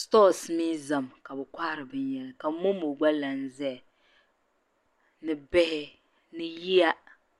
stɔs mii zami ka bɛ kohiri binyɛra ka momo gba lan zaya ni bihi ni yiya